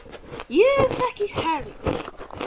Ég þekki Harry